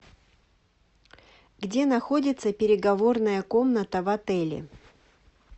где находится переговорная комната в отеле